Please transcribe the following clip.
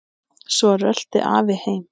Svo rölti afi heim.